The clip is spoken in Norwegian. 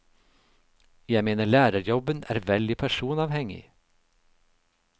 Jeg mener lærerjobben er veldig personavhengig.